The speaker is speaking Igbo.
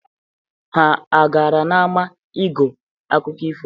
Ha agara n'ama ige akụkọ ifo?